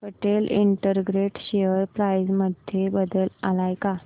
Patel integrated share price मध्ये बदल आलाय का